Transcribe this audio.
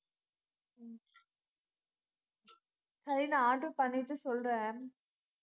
சரி, நான் order பண்ணிட்டு சொல்றேன்